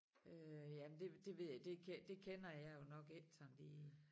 Øh jamen det det ved jeg det det kender jeg jo nok ikke sådan lige